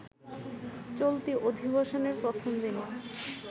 চলতি অধিবেশনের প্রথম দিনে